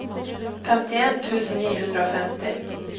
femtien tusen ni hundre og femti